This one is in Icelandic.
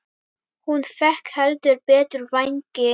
Hún fékk heldur betur vængi.